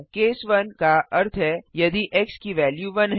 case 1 का अर्थ है यदि एक्स की वेल्यू 1 है